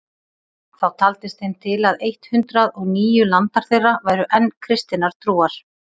Þá taldist þeim til að eitt hundrað og níu landar þeirra væru enn kristinnar trúar.